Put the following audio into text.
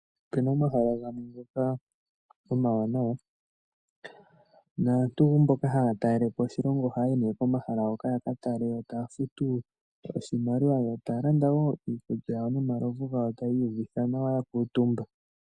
Opena omahala gamwe ngoka omawanawa naantu mboka haya talelepo oshilongo oko nee haya yi hoka yaka tale yo taya futu oshimaliwa yo taya landa woo iikulya nomalovu gawo taya ihuvitha nawa yakuutumba.